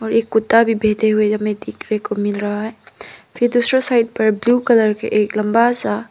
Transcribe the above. और एक कुत्ता भी यहां पर देख बैठे हुए देखने को मिल रहा है फिर दूसरा साइड पर ब्लू कलर का एक लंबा सा--